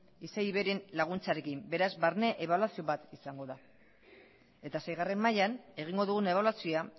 isei ivei ren laguntzarekin beraz barne ebaluazio bat izango da eta seigarren mailan egingo dugun ebaluazioa